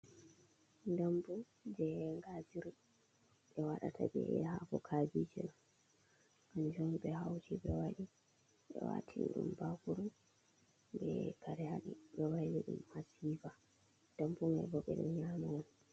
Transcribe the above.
Dammbu jey ngaajiri, ɓe waɗata bee haako kaabiije. Kannjum on ɓe hawti ɓe waɗi ɓe waatini ɗum baakuru bee kare haɗi ɓe wayli ɗum haa sifa. Dammbu mai boo ɓe ɗon nyaama on.